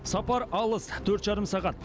сапар алыс төрт жарым сағат